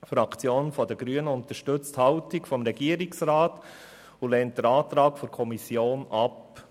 Die Fraktion der Grünen unterstützt die Haltung des Regierungsrats und lehnt den Antrag der Kommission ab.